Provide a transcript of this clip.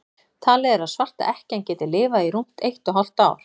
talið er að svarta ekkjan geti lifað í rúmt eitt og hálft ár